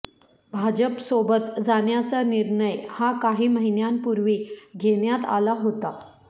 भाजपसोबत जाण्याचा निर्णय हा काही महिन्यांपूर्वी घेण्यात आला होता